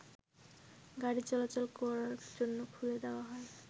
গাড়িচলাচল করার জন্য খুলে দেয়া হয়